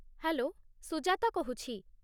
Hello, Sujata କହୁଛି ।